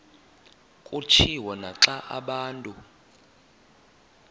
kutshiwo naxa abantu